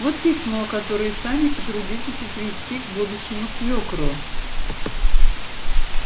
вот письмо которое сами потрудитесь отвезти к будущему свёкру